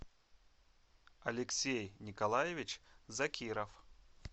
алексей николаевич закиров